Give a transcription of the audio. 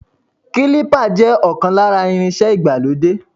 Kílípà jẹ́ ọ̀kan lára irinṣẹ́ ìgbàlódé.